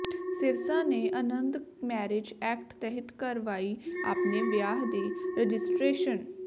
ਸਿਰਸਾ ਨੇ Anand marriage act ਤਹਿਤ ਕਰਵਾਈ ਆਪਣੇ ਵਿਆਹ ਦੀ ਰਜਿਸਟ੍ਰੇਸ਼ਨ